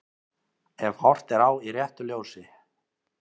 Ef horft er á í réttu ljósi.